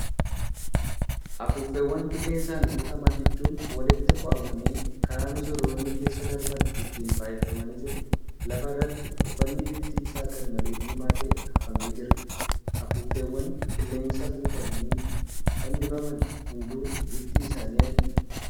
Afuuffeewwan qilleensaan guutaman hedduun walitti foo'amanii kara misirroonni keessa darban ittiin faayefamanii jiru. Lafa irratti uffanni bifti isaa garmalee diimaa ta'e hafamee jira. Afuuffeewwan qilleensa guutamanii fannifaman hunduu bifti isaanii adiidha.